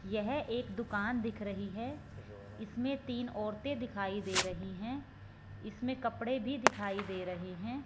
यह एक दुकान दिख रही है इसमें तीन औरतें दिखाई दे रही हैं इसमें कपड़े भी दिखाई दे रहे हैं।